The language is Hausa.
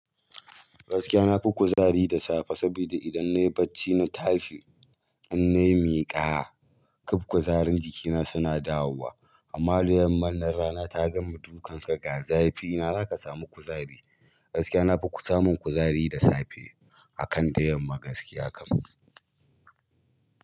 Gaskiya na fi kuzari da safe, saboda idan nayi bacci na tashi idan nayi miƙa kaf kuzarin jikina suna dawowa. Amma da yamman nan rana ta gama dukan ka ga zafi ina zaka samu kuzari. Gaskiya na fi samun kuzari da safe akan da yamma gaskiya kam.